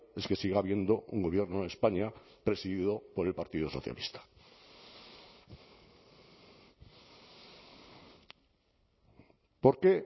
es que siga habiendo un gobierno en españa presidido por el partido socialista por qué